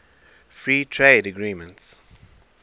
free trade agreements